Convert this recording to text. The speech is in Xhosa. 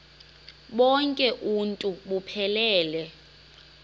bonk uuntu buphelele